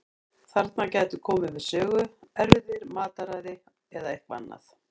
Þarna gætu komið við sögu erfðir, mataræði eða eitthvað annað.